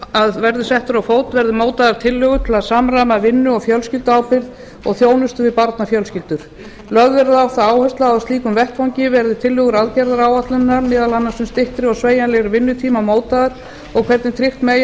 að verði settur á fót verði mótaðar tillögur til að samræma vinnu og fjölskylduábyrgð og þjónustu við barnafjölskyldur lögð verður á það áhersla að á slíkum vettvangi verði tillögur aðgerðaáætlunarinnar meðal annars um styttri og sveigjanlegri vinnutíma mótaðar og hvernig tryggt megi að